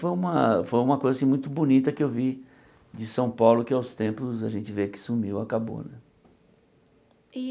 Foi uma foi uma coisa assim muito bonita que eu vi de São Paulo, que aos tempos a gente vê que sumiu, acabou. E